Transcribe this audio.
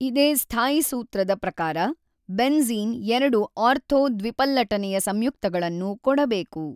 ಇದೆ ಸ್ಥಾಯೀಸೂತ್ರದ ಪ್ರಕಾರ ಬೆನ್ ಜ಼ೀನ್ ಎರಡು ಆರ್ಥೊ ದ್ವಿಪಲ್ಲಟನೆಯ ಸಂಯುಕ್ತಗಳನ್ನು ಕೊಡಬೇಕು.